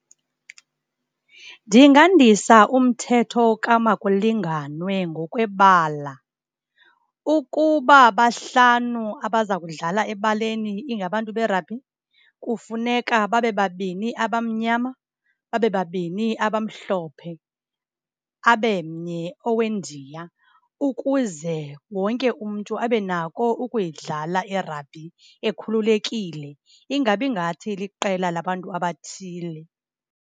Ndingandisa umthetho kamakulinganwe ngokwebala. Ukuba bahlanu abaza kudlala ebaleni ingabantu be-rugby, kufuneka babe babini abamnyama, babe babini abamhlophe, abe mnye oweNdiya ukuze wonke umntu abe nako ukuyidlala i-rugby ekhululekile. Ingabi ngathi liqela labantu abathile.